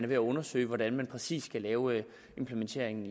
ved at undersøge hvordan man præcis kan lave implementeringen